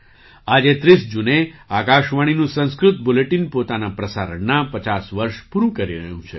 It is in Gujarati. આજે ૩૦ જૂને આકાશવાણીનું સંસ્કૃત બુલેટિન પોતાના પ્રસારણનાં ૫૦ વર્ષ પૂરું કરી રહ્યું છે